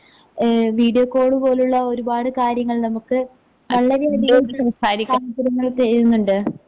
ഏഹ് video കോളുപോലുള്ള ഒരുപാട് കാര്യങ്ങൾ നമുക്ക് വളരെയധികം സ സൗകര്യങ്ങൾ ചെയ്യുന്നുണ്ട്.